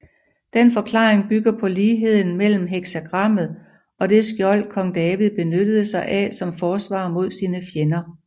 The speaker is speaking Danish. Den forklaring bygger på ligheden mellem heksagrammet og det skjold Kong David benyttede sig af som forsvar mod sine fjender